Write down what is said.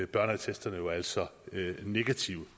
børneattesterne jo altså negative